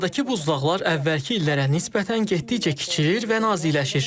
Dünyadakı buzlaqlar əvvəlki illərə nisbətən getdikcə kiçilir və naziləşir.